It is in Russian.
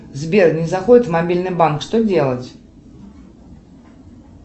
сбер не заходит в мобильный банк что делать